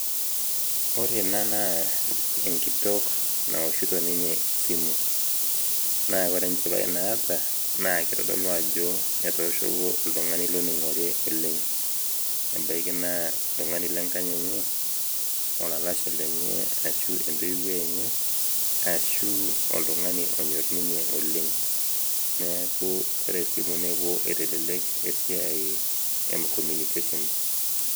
ore ena naa enkitok naoshito ninye esimu, naa ore enchipai naata, naa kitodolu ajo etooshoko oltungani loningore oleng, ebaiki naa oltungani lenkang enye, olalashe lenye, ashu entoiwuoi enye, ashu oltungani onyor ninye oleng. neeku ore simui neewuo aitelelek esiai e communication.